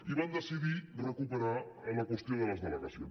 i van decidir recuperar la qüestió de les delegacions